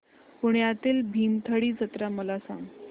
पुण्यातील भीमथडी जत्रा मला सांग